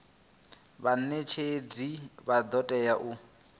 vhanetshedzi vha do tea u